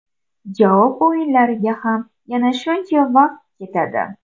Javob o‘yinlariga ham yana shuncha vaqt ketadi.